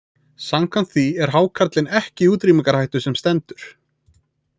Samkvæmt því er hákarlinn ekki í útrýmingarhættu sem stendur.